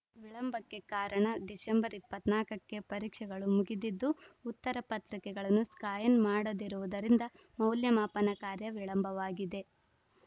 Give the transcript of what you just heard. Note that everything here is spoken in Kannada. ವಿಳಂಬಕ್ಕೆ ಕಾರಣ ಡಿಸೆಂಬರ್ ಇಪ್ಪತ್ತ್ ನಾಲ್ಕ ಕ್ಕೆ ಪರೀಕ್ಷೆಗಳು ಮುಗಿದಿದ್ದು ಉತ್ತರ ಪತ್ರಿಕೆಗಳನ್ನು ಸ್ಕಾ್ಯನ್‌ ಮಾಡದಿರುವುದರಿಂದ ಮೌಲ್ಯಮಾಪನ ಕಾರ್ಯ ವಿಳಂಬವಾಗಿದೆ